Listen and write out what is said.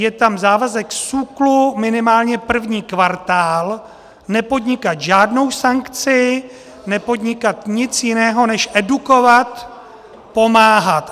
Je tam závazek SÚKLu minimálně první kvartál nepodnikat žádnou sankci, nepodnikat nic jiného než edukovat, pomáhat.